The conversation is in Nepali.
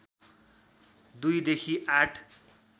२ देखि ८